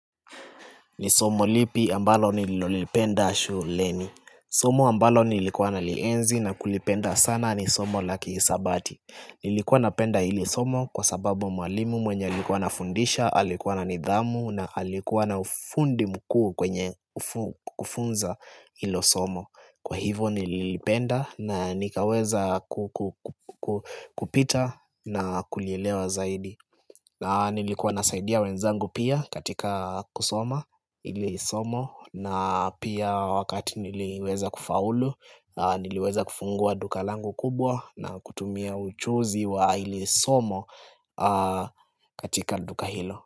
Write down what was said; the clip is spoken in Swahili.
Ni somo lipi ambalo nilolipenda shuleni Somo ambalo nilikuwa nalienzi na kulipenda sana ni somo laki hisabati Nilikuwa napenda hili somo kwa sababu mwalimu mwenye alikuwa ana fundisha Alikuwa na nidhamu na alikuwa na ufundi mkuu kwenye kufunza hilo somo Kwa hivo nililipenda na nikaweza kupita na kulielewa zaidi na nilikuwa nasaidia wenzangu pia katika kusoma hilisomo na pia wakati niliweza kufaulu niliweza kufungua duka langu kubwa na kutumia ujuzi wa hilisomo katika duka hilo.